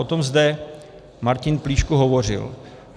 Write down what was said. O tom zde Martin Plíšek hovořil.